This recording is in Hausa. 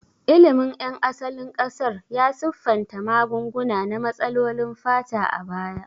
Ilimin ƴan asalin ƙasar ya siffanta magunguna na matsalolin fata a baya.